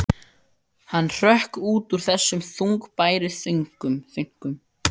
Hann hrökk út úr þessum þungbæru þönkum.